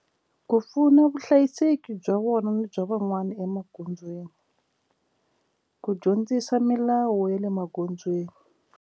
Ku pfuna vuhlayiseki bya vona bya van'wani emagondzweni ku dyondzisa milawu ya le magondzweni.